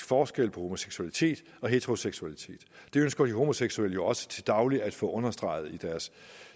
forskel på homoseksualitet og heteroseksualitet det ønsker de homoseksuelle jo også til daglig at få understreget